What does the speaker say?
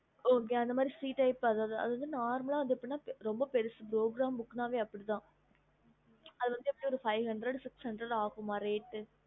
okeyfree tiyp normal ரொம்ப பெருசு program books அப்டிதா அது வந்து five hundred sixhundred